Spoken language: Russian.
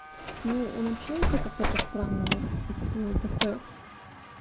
ну он общается как-то по странному то как-то